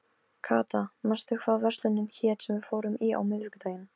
Kata, manstu hvað verslunin hét sem við fórum í á miðvikudaginn?